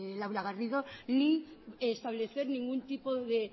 laura garrido ni establecer ningún tipo de